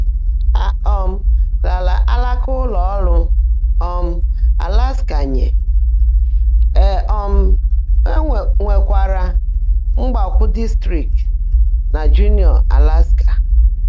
Á um raárá álãká ụ́lọ́ ọ́rụ́ um Áláskà nyé, é um nwèkwáárá mgbákwọ́ dị́strị́ktị́ nà Jụ́núọ́, Áláskà.